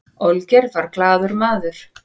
olgeir var glaður maður